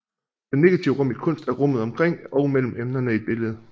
Det negative rum i kunst er rummet omkring og mellem emnerne i et billede